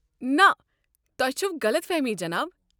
نہٕ، تۄہہ چھوٕ غلط فہمی جِناب۔